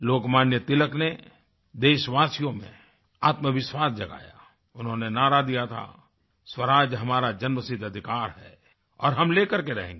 लोकमान्य तिलक ने देशवासियों में आत्मविश्वास जगाया उन्होंने नारा दिया था स्वराज हमारा जन्मसिद्ध अधिकार है और हम लेकर के रहेंगे